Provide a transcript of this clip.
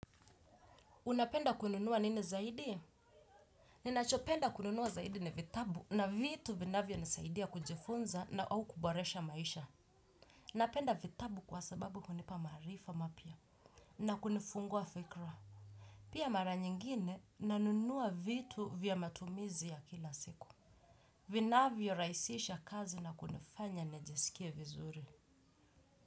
Unapenda kununua nini zaidi? Ninachopenda kununua zaidi ni vitabu na vitu vinavyo nisaidia kujifunza na au kuboresha maisha. Napenda vitabu kwa sababu hunipa marifa mapya na kunifungua fikra. Pia mara nyingine nanunua vitu vya matumizi ya kila siku. Vinavyo rahisisha kazi na kunifanya nijisikia vizuri.